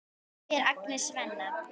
spyr Agnes Svenna.